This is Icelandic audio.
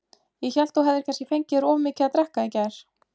Ég hélt þú hefðir kannski fengið þér of mikið að drekka í gær.